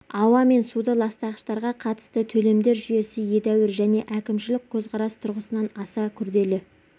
ауа мен суды ластағыштарға қатысты төлемдер жүйесі едәуір және әкімшілік көзқарас тұрғысынан аса күрдәлі